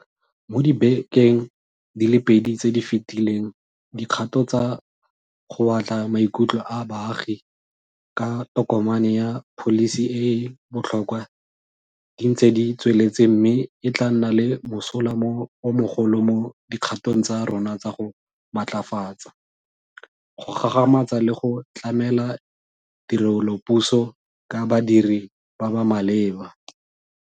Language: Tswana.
Mo dibekeng di le pedi tse di fetileng dikgato tsa go batla maikutlo a baagi ka tokomane ya pholisi e e botlhokwa di ntse di tsweletse mme e tla nna le mosola o mogolo mo dikgatong tsa rona tsa go matlafatsa, go gagamatsa le go tlamela tirelopuso ka badiri ba ba maleba.